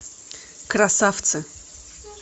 красавцы